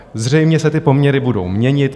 Zřejmě se ty poměry budou měnit.